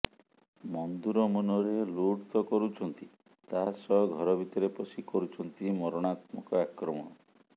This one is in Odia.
ମନ୍ଧୁର ମୁନରେ ଲୁଟ୍ ତ କରୁଛନ୍ତି ତାସହ ଘର ଭିତରେ ପଶି କରୁଛନ୍ତି ମରଣାନ୍ତକ ଆକ୍ରମଣ